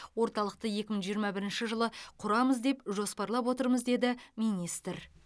орталықты екі мың жиырма бірінші жылы құрамыз деп жоспарлап отырмыз деді министр